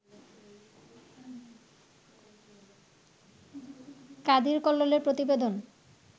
কাদির কল্লোলের প্রতিবেদন